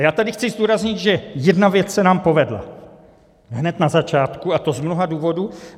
A já tady chci zdůraznit, že jedna věc se nám povedla hned na začátku, a to z mnoha důvodů.